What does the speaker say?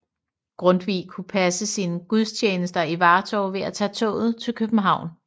Grundtvig kunne passe sine gudstjenester i Vartov ved at tage toget til København